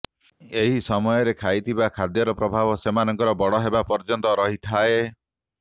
ଏହି ସମୟରେ ଖାଇଥିବା ଖାଦ୍ୟର ପ୍ରଭାବ ସେମାନଙ୍କର ବଡ଼ ହେବା ପର୍ଯ୍ୟନ୍ତ ରହିଥାଏ